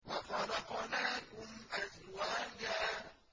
وَخَلَقْنَاكُمْ أَزْوَاجًا